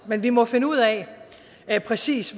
men vi må finde ud af præcis